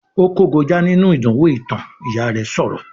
"Ó kógojá nínú ìdánwò ìtàn", Ìyá rẹ̀ sọ̀rọ̀